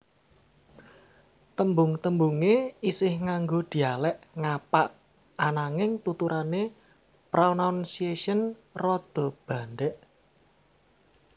Tembung tembunge isih nganggo dialek ngapak ananging tuturane pranaunciation rada bandek